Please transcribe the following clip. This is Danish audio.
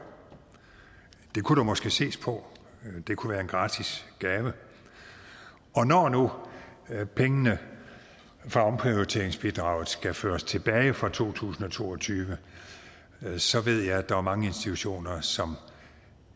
det kunne der måske ses på det kunne være en gratis gave når nu pengene fra omprioriteringsbidraget skal føres tilbage fra to tusind og to og tyve så ved jeg at der er mange institutioner som